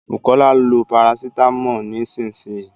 Bukola lo parasitámọ̀ nísìsiyìí